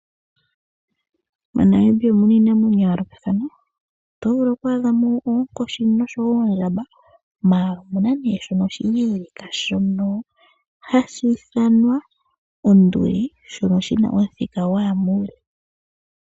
MoNamibia omuna iinamwenyo ya yoolokathana ,oto vulu oku adha mo oonkoshi noondjamba mala omuna shono oshileleka shono hashi ithanwa onduli shono shina omuthika gwaya muule.